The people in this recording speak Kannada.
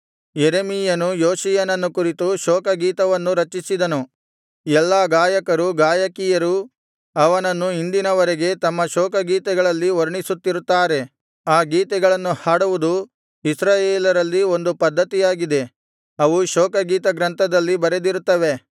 ಯೆರೆಮೀಯನು ಯೋಷೀಯನನ್ನು ಕುರಿತು ಶೋಕಗೀತವನ್ನು ರಚಿಸಿದನು ಎಲ್ಲಾ ಗಾಯಕರೂ ಗಾಯಕಿಯರೂ ಅವನನ್ನು ಇಂದಿನ ವರೆಗೆ ತಮ್ಮ ಶೋಕಗೀತಗಳಲ್ಲಿ ವರ್ಣಿಸುತ್ತಿರುತ್ತಾರೆ ಆ ಗೀತೆಗಳನ್ನು ಹಾಡುವುದು ಇಸ್ರಾಯೇಲರಲ್ಲಿ ಒಂದು ಪದ್ಧತಿಯಾಗಿದೆ ಅವು ಶೋಕಗೀತಗ್ರಂಥದಲ್ಲಿ ಬರೆದಿರುತ್ತವೆ